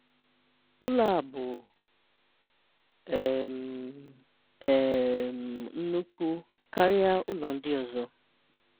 Ụ̀lọ̀ a bụ̀ um um ńnụ̀kú̀ kárị̀à Ụ̀lọ̀ ndị́ ọzọ̀.